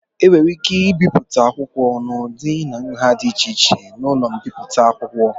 E nwere ike ibipụta akwụkwọ n'ụdị na nha dị iche iche n'ụlọ mbipụta akwụkwọ.